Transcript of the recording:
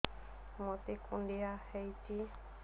ମୋତେ କୁଣ୍ଡିଆ ହେଇଚି